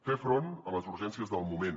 fer front a les urgències del moment